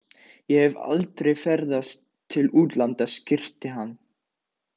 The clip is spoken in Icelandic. Ég hef aldrei ferðast til útlanda skríkti hann.